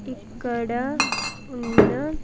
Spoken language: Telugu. ఇక్కడ ఉన్న--